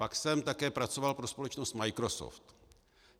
Pak jsem také pracoval pro společnosti Microsoft.